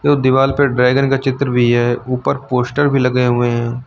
दीवाल पे ड्रैगन का चित्र भी है ऊपर पोस्टर भी लगे हुए है।